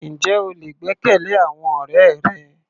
Ǹjẹ́ o lè gbẹ́kẹ̀lé àwọn ọ̀rẹ́ rẹ?